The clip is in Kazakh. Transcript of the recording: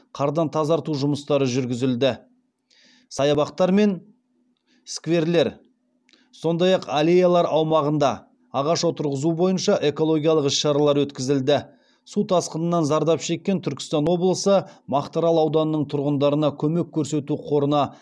қардан тазарту жұмыстары жүргізілді саябақтар мен скверлер сондай ақ аллеялар аумағында ағаш отырғызу бойынша экологиялық іс шаралар өткізілді су тасқынынан зардап шеккен түркістан облысы мақтаарал ауданының тұрғындарына көмек көрсету қорына